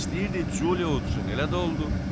O istəyirdi Culio udçun, elə də oldu.